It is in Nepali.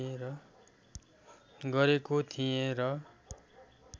गरेको थिएँ र